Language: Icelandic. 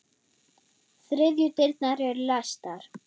Þriðju dyrnar eru læstar.